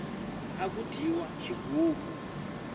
aku dyiwa xigugu